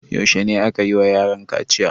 Yaushe ne aka yi wa yaran kaciya?